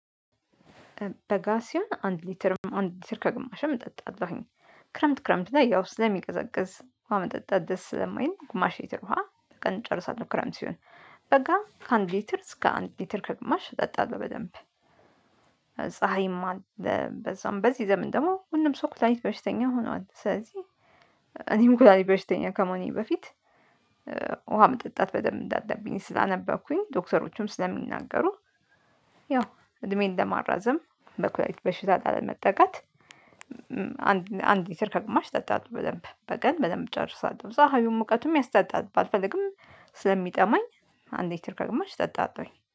በጋ ሲሆን አንድ ሊትርም አንድ ሊትር ከግማሽም እጠጣለሁኝ። ክረምት ክረምት ላይ ያው ስለሚቀዘቅዝ ዉሃ መጠጣት ደስ ስለማይል ግማሽ ሊትር ውሃ በቀን እጨርሳለሁ ክረምት ሲሆን። በጋ ከአንድ ሊትር እስከ አንድ ሊትር ከግማሽ እጠጣለሁ በደንብ። ፀሀይማ በዛም በዚህ ዘመን ደግሞ ሁሉም ሰው ኩላሊት በርሽተኛ ሆኗል ስለዚህ እኔም ኩላሊት በሽተኛ ከመሆኔ በፊት። ውሃ መጠጣት በደንብ እንዳለብኝ ስላነበኩኝ ዶክተሮቹም ስለሚናገሩ ያው እድሜዬን ለማራዘም በኩላሊት በሽታ ላለመጠቃት። አንድ እና አንድ ሊትር ከግማሽ ጠጣለሁ በደንብ በቀን በደንብ ጨርሳለሁ። ፀሀዩም ሙቀቱም ያስጠጣል ባልፈልግም ስለሚጠማኝ አንድ ሊትር ከግማሽ ጠጣለሁኝ